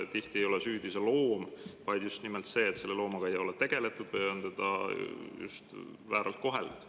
Tihti ei ole süüdi loom, vaid just nimelt see, et loomaga ei ole tegeldud või on teda vääralt koheldud.